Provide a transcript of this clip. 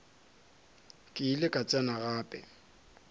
ke ile ka tsena gape